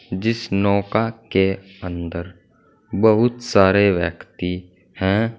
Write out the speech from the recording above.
जिस नौका के अंदर बहुत सारे व्यक्ति हैं।